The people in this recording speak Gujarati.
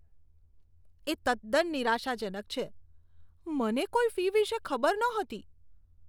એ તદ્દન નિરાશાજનક છે. મને કોઈ ફી વિશે ખબર નહોતી.